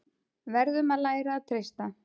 Verðum að læra að treysta